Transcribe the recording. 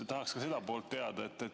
Tahaks ka seda poolt teada.